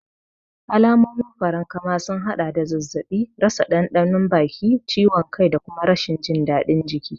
Alamomin farankama sun haɗa da zazzaɓi, rasa ɗanɗanon baki, ciwon kai da kuma rashin jin daɗin jiki.